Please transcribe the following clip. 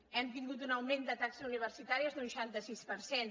hem tingut un augment de taxes universitàries d’un seixanta sis per cent